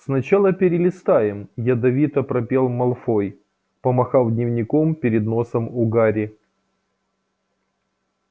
сначала перелистаем ядовито пропел малфой помахав дневником перед носом у гарри